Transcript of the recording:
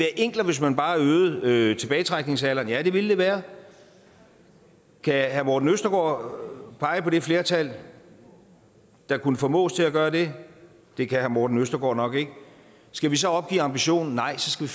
enklere hvis man bare øgede tilbagetrækningsalderen ja det ville det være kan herre morten østergaard pege på det flertal der kunne formås til at gøre det det kan herre morten østergaard nok ikke skal vi så opgive ambitionen nej så skal